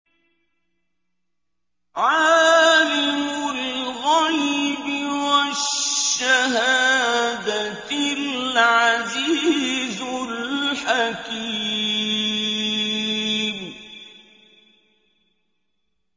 عَالِمُ الْغَيْبِ وَالشَّهَادَةِ الْعَزِيزُ الْحَكِيمُ